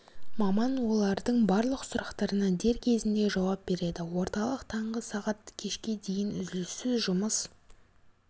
маман олардың барлық сұрақтарына дер кезінде жауап береді орталық таңғы сағат кешкі дейін үзіліссіз жұмыс